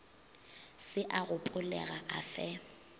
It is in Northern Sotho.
se a gopolega a fe